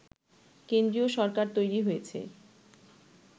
কেন্দ্রীয় সরকার তৈরি হয়েছে